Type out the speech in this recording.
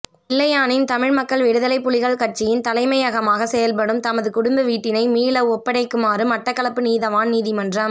பிள்ளையானின் தமிழ் மக்கள் விடுதலைப்புலிகள் கட்சியின் தலைமையகமாக செயற்படும் தமது குடும்ப வீட்டினை மீள ஒப்படைக்குமாறு மட்டக்களப்பு நீதிவான் நீதிமன்றம்